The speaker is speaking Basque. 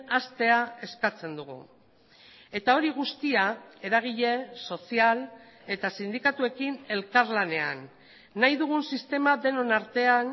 hastea eskatzen dugu eta hori guztia eragile sozial eta sindikatuekin elkarlanean nahi dugun sistema denon artean